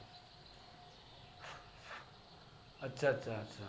અચ્છા